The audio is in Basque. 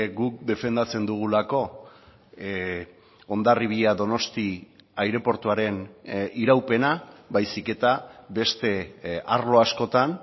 guk defendatzen dugulako hondarribia donosti aireportuaren iraupena baizik eta beste arlo askotan